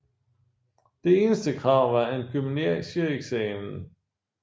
Det eneste krav var en gymnasieeksamen